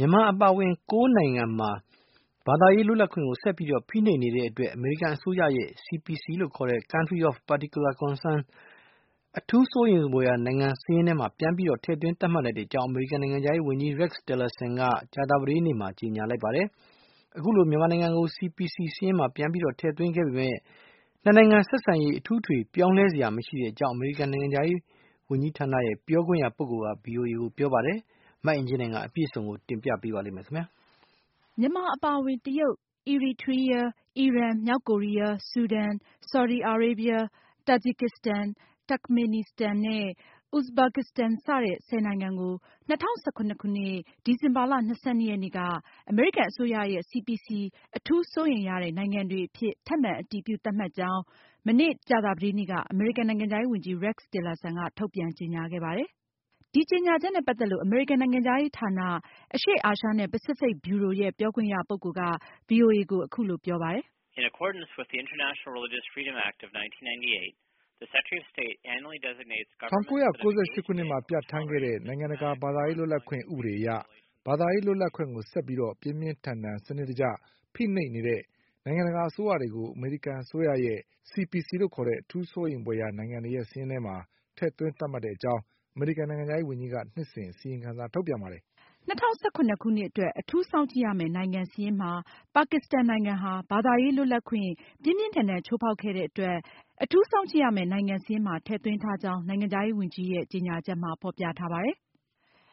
ြန်မာအပါအဝင် ၁၀ နိုင်ငံမှာ ဘာသာရေးလွတ်လပ်ခွင့်ကို ဆက်ပြီး ဖိနှိပ်နေတဲ့အတွက် အမေရိကန်အစိုးရရဲ့ CPC (Country of Particular Concern) အထူးစိုးရိမ်ဖွယ်ရာ နိုင်ငံစာရင်းထဲမှာ ပြန်ပြီး ထည့်သွင်း သတ်မှတ်ကြောင်း အမေရိကန်နိုင်ငံခြားရေးဝန်ကြီး Rex Tillerson က မနေ့ ကြာသာပတေးနေ့က ကြေညာလိုက်ပါတယ်။ အခုလို မြန်မာနိုင်ငံကို CPC စာရင်းမှာ ပြန်ပြီး ထည့်သွင်းခဲ့ပေမယ့် နှစ်နိုင်ငံဆက်ဆံရေး အထူးအထွေပြောင်းလ စရာ မရှိကြောင်း အမေရိကန်နိုင်ငံခြားရေးဌာန ပြောခွင့်ရ ပုဂ္ဂိုလ်က ဗွီအိုအေကို ပြောပါတယ်။ မအင်ကြင်းနိုင်က အပြည့်အစုံကို ဆက်ပြီးတင်ပြမှာပါ။ မြန်မာအပါအဝင် တရုတ်၊ အီရီထရီးယား၊ အီရန်၊ မြောက်ကိုရီးယား၊ ဆူဒန်၊ ဆော်ဒီအာရေဗျ၊ တာဂျီကစ္စတန်၊ တာခ်မေနီစတန်နဲ့ အူဇ်ဘာကစ္စတန် စတဲ့ ၁၀ နိုင်ငံကို ၂၀၁၇ ခုနှစ် ဒီဇင်ဘာလ ၂၂ ရက်က အမေရိကန်အစိုးရရဲ့ CPC အထူးစိုးရိမ်ရတဲ့ နိုင်ငံတွေအဖြစ် ထပ်မံအတည်ပြု သတ်မှတ်ကြောင်း မနေ့ ကြာသာပတေးနေ့က အမေရိကန်နိုင်ငံခြားဝန်ကြီး Rex Tillerson က ထုတ်ပြန်ကြေညာခဲ့ပါတယ်။ ဒီကြေညာချက်နဲ့ ပတ်သက်လို့ အမေရိကန်နိုင်ငံခြားရေးဌာန အရှေ့အာရှနဲ့ ပစိဖိတ်ဗျူရို ရဲ့ ပြောခွင့်ရပုဂ္ဂိုလ်က ဗွီအိုအေကို အခုလို ပြောပါတယ်။ "၁၉၉၈ ခုနှစ်မှာ ပြဌာန်းခဲ့တဲ့ နိုင်ငံတကာ ဘာသာရေးလွတ်လပ်ခွင့် ဥပဒေအရ ဘာသာရေးလွတ်လပ်ခွင့်ကို ဆက်လက်ပြီး ပြင်းပြင်းထန်ထန် စနစ်တကျ ဖိနှိပ်နေတဲ့ နိုင်ငံတကာ အစိုးရတွေကို အမေရိကန်အစိုးရရဲ့ CPC (Country of Particular Concern) လို့ခေါ်တဲ့ အထူးစိုးရိမ်ဖွယ်ရာ နိုင်ငံစာရင်းထဲမှာ ထည့်သွင်း သတ်မှတ်ကြောင်း အမေရိကန်နိုင်ငံခြားရေးဝန်ကြီးက နှစ်စဉ် အစီရင်ခံ ထုတ်ပြန်ပါတယ်။" ဒါအပြင် ၂၀၁၇ခုနှစ်အတွက် ဘာသာရေးလွတ်လပ်ခွင့် ပြင်းပြင်းထန်ထန် ချိုးဖောက်မှုတွေရှိခဲ့တဲ့ ပါကစ္စတန်နိုင်ငံကိုအထူးစောင့်ကြည့်ရမယ့် နိုင်ငံစာရင်းမှာ ထည့်သွင်းထားကြောင်း Mr. Tillerson ရဲ့ ကြေညာချက်မှာ ဖေါ်ပြထားပါတယ်။